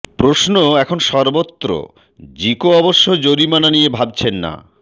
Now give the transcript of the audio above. প্রশ্ন এখন সর্বত্র জিকো অবশ্য জরিমানা নিয়ে ভাবছেন না